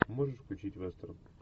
можешь включить вестерн